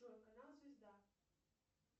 джой канал звезда